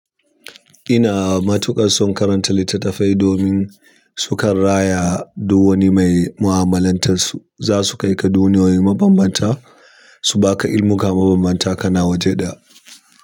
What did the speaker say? Ina matuƙar son karanta littatafai domin su kan raya duk wani mai mu'amalantar su. Za su kai ka duniyoyi mabambanta, su ba ka ilimuka mabambanta kana waje ɗaya.